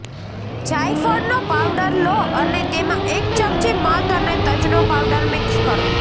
જાયફળનો powder લો અને તેમાં એક ચમચી મધ અને તજનો પાવડર મિક્સ કરો